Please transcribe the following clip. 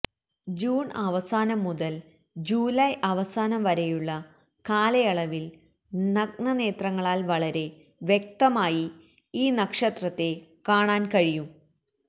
June അവസാനം മുതൽ July അവസാനം വരെയുള്ള കാലയളവിൽ നഗ്നനേത്രങ്ങളാൽ വളരെ വ്യക്തമായി ഈ നക്ഷത്രത്തെ കാണാൻ കഴിയും